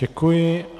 Děkuji.